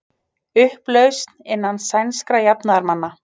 Upplausn innan sænskra jafnaðarmanna